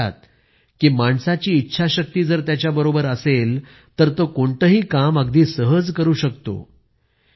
ते म्हणतात की माणसाची इच्छाशक्ती जर त्याच्या बरोबर असेल तर तो कोणतेही काम अगदी सहज करू शकतो